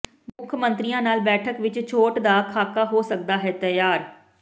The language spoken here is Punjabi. ਮੁੱਖ ਮੰਤਰੀਆਂ ਨਾਲ ਬੈਠਕ ਵਿਚ ਛੋਟ ਦਾ ਖਾਕਾ ਹੋ ਸਕਦਾ ਹੈ ਤਿਆਰ